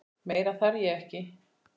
Meira þarf ég ekki.